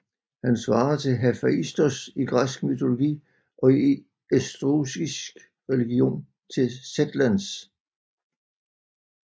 Han svarer til Hefaistos i græsk mytologi og i estruskisk religion til Sethlans